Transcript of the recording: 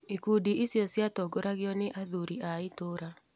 Ikundi icio ciatongoragio nĩ athuri a itũũra.